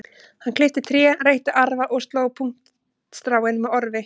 Hann klippti tré, reytti arfa og sló puntstráin með orfi.